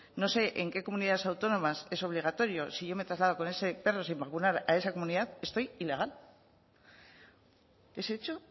no sé en qué comunidades autónomas es obligatorio si yo me traslado con ese perro sin vacunar a esa comunidad estoy ilegal ese hecho